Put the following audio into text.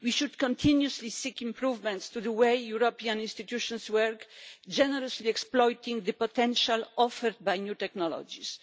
We should continuously seek improvements to the way the European institutions work, generously exploiting the potential offered by new technologies.